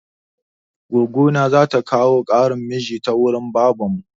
Goggo na za ta kawo ƙaran mijin ta wurin babanmu.